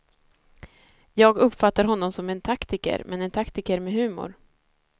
Jag uppfattar honom som en taktiker, men en taktiker med humor.